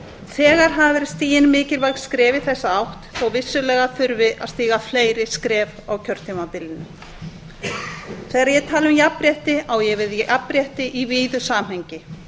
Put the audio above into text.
þegar hafa verið stigin mikilvæg skref í þessa átt þó að vissulega þurfi að stíga fleiri skref á kjörtímabilinu þegar ég tala um jafnrétti á ég við jafnrétti í víðu samhengi